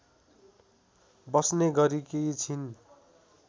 बस्ने गरेकी छिन्।